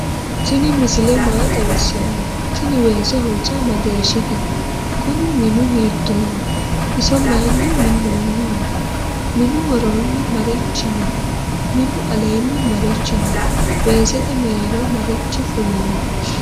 tini misile maa xawisa no ?tini wese hoja mageshite? kuni minnu hittoho? iso mayini minoniho? minu woroni marichi no?minu aleni marichi no?wesete merero marichi fulino